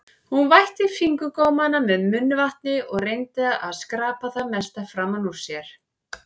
Hún vætti fingurgómana með munnvatni og reyndi að skrapa það mesta framan úr sér.